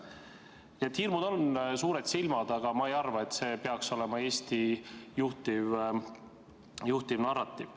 Nii et hirmul on suured silmad, aga ma ei arva, et see peaks olema Eesti juhtiv narratiiv.